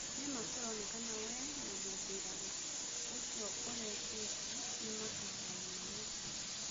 Nĩmaa kũronekana wee na mũmbiraru ũcio ũritaĩte nĩmakagayana mĩtĩ.